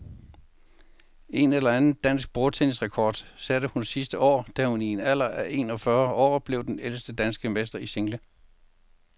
En anden dansk bordtennisrekord satte hun sidste år, da hun i en alder af en og fyrre år blev den ældste danske mester i single.